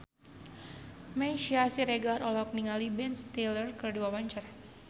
Meisya Siregar olohok ningali Ben Stiller keur diwawancara